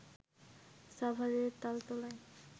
সাভারের তালতলায়